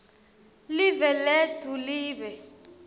live letfu libe